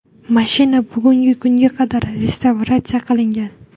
Mashina bugungi kunga qadar restavratsiya qilingan.